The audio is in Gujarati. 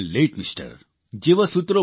લતે થાન લતે એમઆર